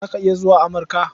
Za ka iya zuwa Amurka?